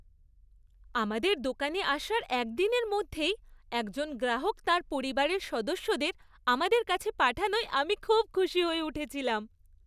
আমাদের দোকানে আসার একদিনের মধ্যেই একজন গ্রাহক তাঁর পরিবারের সদস্যদের আমাদের কাছে পাঠানোয় আমি খুব খুশি হয়ে উঠেছিলাম।